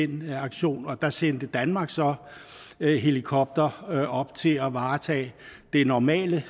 den aktion og der sendte danmark så helikoptere op til at varetage det normale